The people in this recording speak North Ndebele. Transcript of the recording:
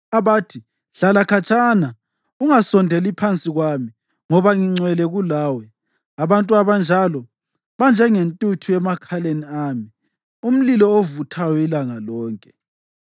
abathi, ‘Hlala khatshana, ungasondeli phansi kwami, ngoba ngingcwele kulawe!’ Abantu abanjalo banjengentuthu emakhaleni ami, umlilo ovuthayo ilanga lonke.